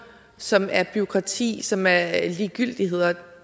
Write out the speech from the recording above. som er bureaukrati som er ligegyldigheder det